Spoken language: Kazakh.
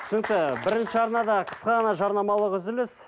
түсінікті бірінші арнада қысқа ғана жарнамалық үзіліс